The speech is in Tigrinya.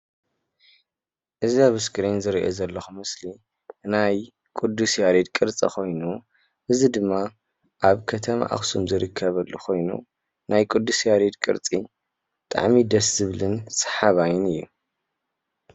እዚ ኣብ እስክሪን ዝሪኦ ዘለኩ ምስሊ ናይ ቅዱስ ያሬድ ቅርፂ ኮይኑ እዚ ድማ ኣብ ከተማ ኣክሱም ዝርከበሉ ኮይኑ ናይ ቅዱስ ያሬድ ቅርፂ ብጣዕሚ ደስ ዝብልን ሰሓባይን እዩ፡፡